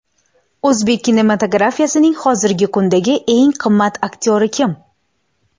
O‘zbek kinematografiyasining hozirgi kundagi eng qimmat aktyori kim?